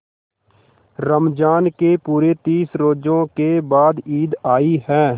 रमज़ान के पूरे तीस रोजों के बाद ईद आई है